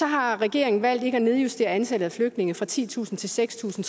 har regeringen valgt ikke at nedjustere antallet af flygtninge fra titusind til seks tusind